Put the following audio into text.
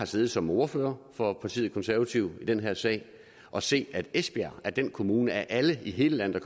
siddet som ordfører for partiet konservative i den her sag og set at esbjerg er den kommune af alle i hele landet